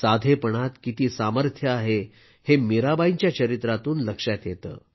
साधेपणात किती सामर्थ्य आहे हे मीराबाईंच्या चरित्रातून लक्षात येते